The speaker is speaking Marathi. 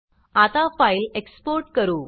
आता फाइल एक्सपोर्ट करू